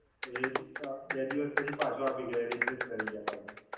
તો એ બે દિવસ પછી પાછું આપી ગયા, Replace કરી ગયા પાછું.